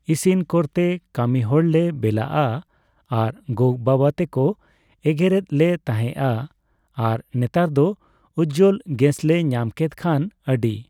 ᱤᱥᱤᱱ ᱠᱚᱨᱛᱮᱭ ᱠᱟᱹᱢᱤ ᱦᱚᱲᱞᱮ ᱵᱮᱞᱟᱜᱼᱟ ᱟᱨ ᱜᱚ ᱵᱟᱵᱟ ᱛᱟᱠᱚ ᱮᱜᱮᱨᱮᱫ ᱞᱮ ᱛᱟᱦᱮᱸᱜᱼᱟ ᱟᱨ ᱱᱮᱛᱟᱨ ᱫᱚ ᱩᱡᱡᱚᱞ ᱜᱮᱥᱞᱮ ᱧᱟᱢᱠᱮᱫ ᱠᱷᱟᱱ ᱟᱹᱰᱤ